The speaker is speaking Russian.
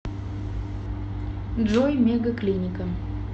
джой мега клиника